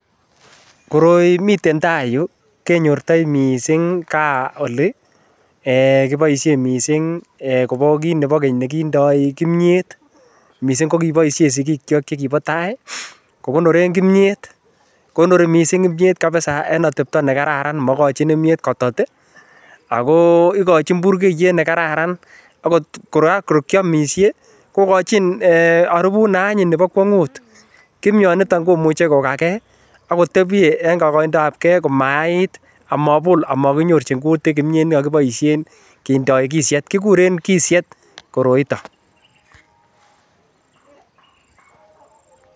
Koroi miten taai yuu kenyortoi mising kaa olii eeh kiboishen mising kobo kiit nebo keny kondoi kimnyet mising ko kiboishen sikikyok chekibo taai kikonoren kimnyeet, konori mising kimnyet kabisaa en atebto nekararan mokochin kimnyet kotot ak ko ikojin burkeiyet nekararan okot kora kor kiomishe kikojin eeh oribut neanyin nebo kwongut, kimnyoniton komuche kokakee akotebye en koindabkee komayait amabol amakinyorchin kimnyeet nekikoboishen kindoi kisiet, kikuren kisiet koroiton.